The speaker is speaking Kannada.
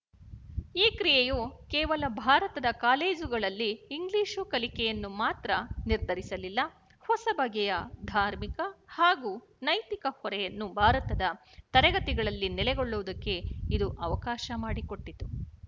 ಈ ಕ್ರಿಯೆಯು ಕೇವಲ ಭಾರತದ ಕಾಲೇಜುಗಳಲ್ಲಿ ಇಂಗ್ಲಿಶು ಕಲಿಕೆಯನ್ನು ಮಾತ್ರ ನಿರ್ಧರಿಸಲಿಲ್ಲ ಹೊಸ ಬಗೆಯ ಧಾರ್ಮಿಕ ಹಾಗೂ ನೈತಿಕ ಹೊರೆಯನ್ನು ಭಾರತದ ತರಗತಿಗಳಲ್ಲಿ ನೆಲೆಗೊಳ್ಳುವುದಕ್ಕೆ ಇದು ಅವಕಾಶ ಮಾಡಿಕೊಟ್ಟಿತು